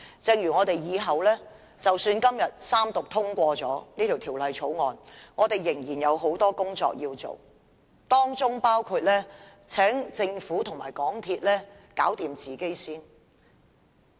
即使我們今天三讀通過《條例草案》，我們仍然有很多工作要做，當中包括請政府和港鐵公司首先解決自身的問題。